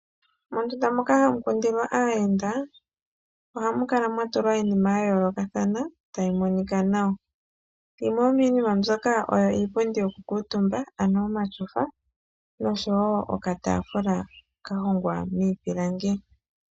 Mondunda moka hamu kundilwa aayenda, ohamu kala mwa tulwa iinima ya yoolokathana tayi monika nawa. Yimwe yomiinima mbyoka oyo iipundi yokukuutumba ano omatyofa noshowo okataafula ka hongwa miipilangi.